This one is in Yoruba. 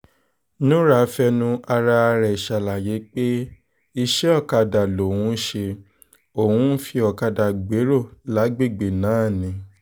nura fẹnu ara ẹ̀ ṣàlàyé pé iṣẹ́ òkàdá lòun ń ṣe òun ń fi ọ̀kadà gbèrò lágbègbè náà ni